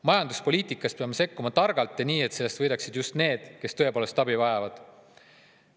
Majanduspoliitikas peame sekkuma targalt ja nii, et sellest võidaksid just need, kes tõepoolest abi vajavad.